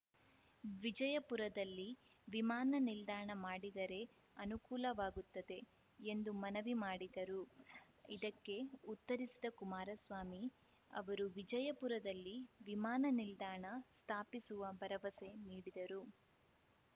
ವಿಜಯಪುರದಲ್ಲಿ ವಿಮಾನ ನಿಲ್ದಾಣ ಮಾಡಿದರೆ ಅನುಕೂಲವಾಗುತ್ತದೆ ಎಂದು ಮನವಿ ಮಾಡಿದರು ಇದಕ್ಕೆ ಉತ್ತರಿಸಿದ ಕುಮಾರಸ್ವಾಮಿ ಅವರು ವಿಜಯಪುರದಲ್ಲಿ ವಿಮಾನ ನಿಲ್ದಾಣ ಸ್ಥಾಪಿಸುವ ಭರವಸೆ ನೀಡಿದರು